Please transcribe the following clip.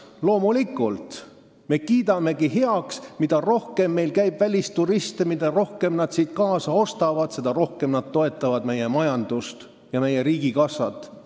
Loomulikult, mida rohkem meil käib välisturiste, mida rohkem nad siit kaasa ostavad, seda rohkem nad toetavad meie majandust ja meie riigikassat.